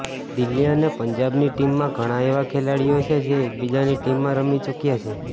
દિલ્હી અને પંજાબની ટીમમાં ઘણા એવા ખેલાડી છે જે એકબીજાની ટીમમાં રમી ચુક્યા છે